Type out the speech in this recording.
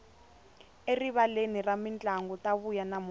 erivaleni ra mintlangu ta vuya namuntlha